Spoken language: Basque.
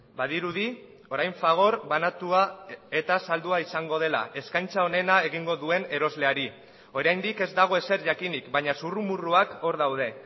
badirudi orain fagor banatua eta saldua izango dela eskaintza onena egingo duen erosleari oraindik ez dago ezer jakinik baina zurrumurruak hor daude